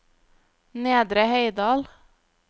Nedre Heidal